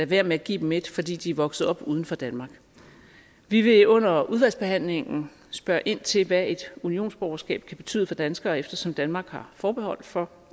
være med at give dem et fordi de er vokset op uden for danmark vi vil under udvalgsbehandlingen spørge ind til hvad et unionsborgerskab kan betyde for danskere eftersom danmark har forbehold for